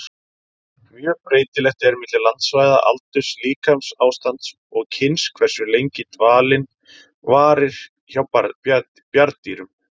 Mjög breytilegt er milli landsvæða, aldurs, líkamsástands og kyns hversu lengi dvalinn varir hjá bjarndýrum.